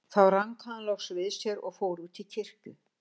Þá rankaði hann loks við sér og fór út í kirkju.